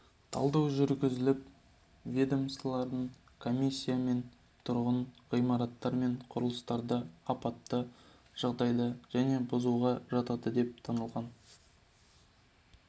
талдау жүргізіліп ведомствоаралық комиссиямен тұрғын ғимараттар мен құрылыстарды апатты жағдайда және бұзуға жатады деп танылған